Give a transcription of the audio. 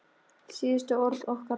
Síðustu orð okkar.